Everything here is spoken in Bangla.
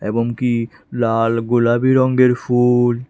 এবং কি লাল গোলাবি রঙ্গের ফুল।